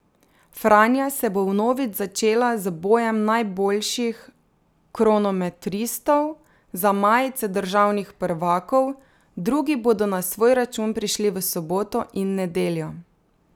Franja se bo vnovič začela z bojem najboljših kronometristov za majice državnih prvakov, drugi bodo na svoj račun prišli v soboto in nedeljo.